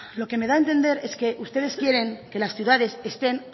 lo que me da a entender es que ustedes quieren que las ciudades estén